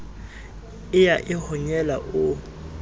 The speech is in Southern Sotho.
e ya e honyela o